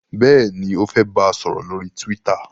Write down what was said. béèni o fè bá sòrò lórí twitter.